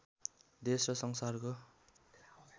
देश र संसारको